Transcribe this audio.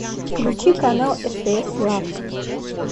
включи канал стс лав